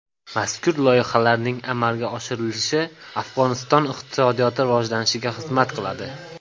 Mazkur loyihalarning amalga oshirilishi Afg‘oniston iqtisodiyoti rivojlanishiga xizmat qiladi.